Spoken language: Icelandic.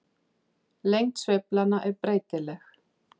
Lengd sveiflanna er breytileg.